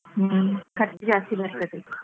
ಹ್ಮ್ ಖರ್ಚು ಜಾಸ್ತಿ ಬರ್ತದೆ.